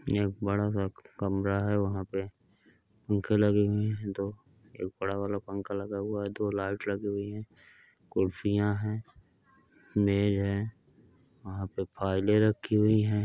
एक बड़ा सा कमरा है वहा पे दो एक बडा वाला पंखा लगा हुआ है दो लाइट लगी हुई है कुर्सियां है मेज है वहा पे फाइले रखी हुई है।